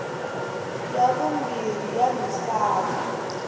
ya vumbirhi ya misava